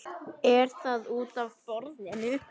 Er það útaf borðinu?